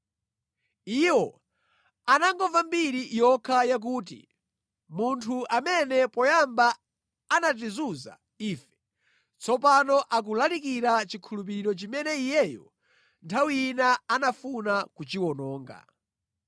Iwo anangomva mbiri yokha yakuti, “Munthu amene poyamba anatizunza ife, tsopano akulalikira chikhulupiriro chimene iyeyo nthawi ina anafuna kuchiwononga.”